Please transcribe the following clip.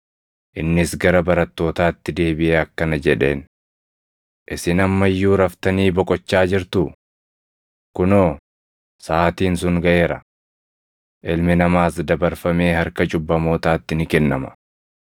Innis gara barattootaatti deebiʼee akkana jedheen; “Isin amma iyyuu raftanii boqochaa jirtuu? Kunoo, saʼaatiin sun gaʼeera; Ilmi Namaas dabarfamee harka cubbamootaatti ni kennama.